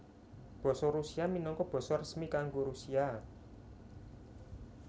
Basa Rusia minangka basa resmi kanggo Rusia